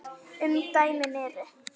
Umdæmin eru